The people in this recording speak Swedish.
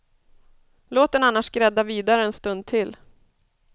Låt den annars grädda vidare en stund till.